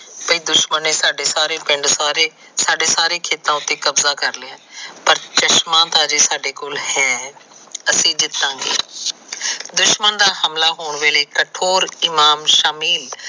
ਭਾਈ ਦੁਸ਼ਮਣ ਸਾਡੇ ਸਾਰੇ ਪਿੰਡ ਸਾਰੇ ਸਾਡੇ ਸਾਰੇ ਖੇਤਾ ਉਤੇ ਕਬਜਾ ਕਰ ਲੈਣ ਪਰ ਚਸ਼ਮਾ ਤਾ ਹਜੇ ਸਾਡੇ ਕੋਲ ਹੈ ਅਸੀ ਜਿਤਾਗੇ। ਦੁਸ਼ਮਣ ਦਾ ਹਮਲਾ ਹੋਣ ਵੇਲੇ ਕਠੋਰ ਇਮਾਮ ਸ਼ਮੀਮ